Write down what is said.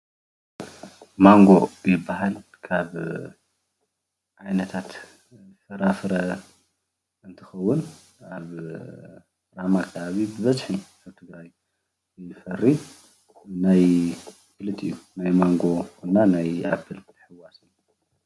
ማንጎ ይበሃል ካብ ዓይነታት ፍራፍረ እንትኸውን ኣብ ራማ ኣከባቢ ብበዝሒ ካብ ትግራይ ይፈሪ ናይ ኽልቲኢ ናይ ማንጎን ኣፕልን ሔውስ እዩ።